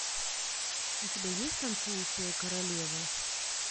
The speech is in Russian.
у тебя есть танцующая королева